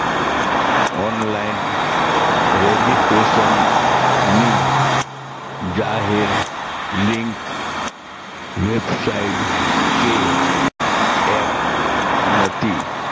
online registration ની જાહેર link website કે app નથી